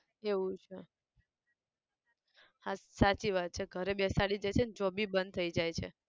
એવું છે, હા સાચી વાત છે, ઘરે બેસાડી દે છે ન job બી બંધ થઈ જાય છે